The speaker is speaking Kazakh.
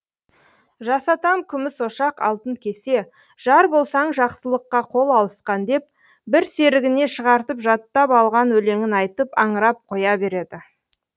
жасатам күміс ошақ алтын кесе жар болсаң жақсылыққа қол алысқан деп бір серігіне шығартып жаттап алған өлеңін айтып аңырап қоя береді